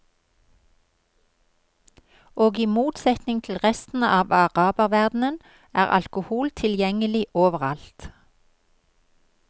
Og i motsetning til i resten av araberverdenen er alkohol tilgjengelig overalt.